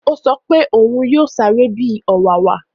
Ó sọ pé òún yóò sáré bi ọ̀wàwà